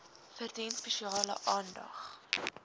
verdien spesiale aandag